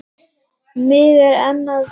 Mig er enn að dreyma.